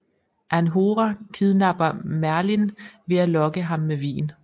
Anhora kidnapper Merlin ved at lokke ham med vin